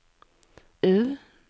U